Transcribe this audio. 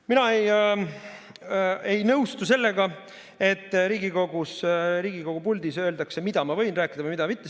Mina ei nõustu sellega, et Riigikogu puldis olijale öeldakse, mida võib rääkida või mida mitte.